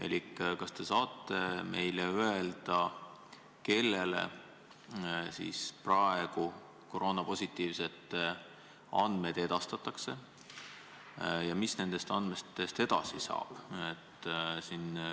Elik, kas te saate meile öelda, kellele siis praegu koroonapositiivsete andmed edastatakse ja mis nendest andmetest edasi saab?